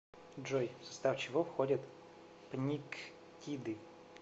джой в состав чего входит пниктиды